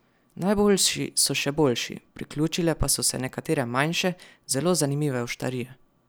Najboljši so še boljši, priključile pa so se nekatere manjše, zelo zanimive oštarije.